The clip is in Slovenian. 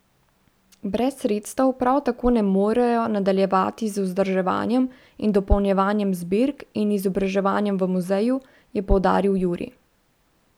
Brez sredstev prav tako ne morejo nadaljevati z vzdrževanjem in dopolnjevanjem zbirk in izobraževanjem v muzeju, je poudaril Juri.